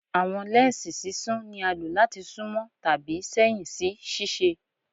Awọn lẹnsi sisún ni a lo lati sunmọ tabi sẹhin si ṣiṣe